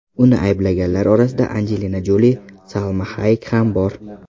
Uni ayblaganlar orasida Anjelina Joli, Salma Hayek ham bor.